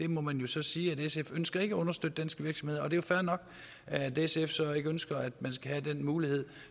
må jo så sige at sf ikke ønsker at understøtte danske virksomheder og det er fair nok at sf så ikke ønsker at man skal have den mulighed